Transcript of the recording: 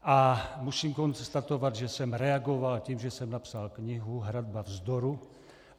A musím konstatovat, že jsem reagoval tím, že jsem napsal knihu Hradba vzdoru.